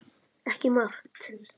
Ekki margt.